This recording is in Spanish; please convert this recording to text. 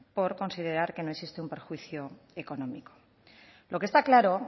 por considerar que no existe un perjuicio económico lo que está claro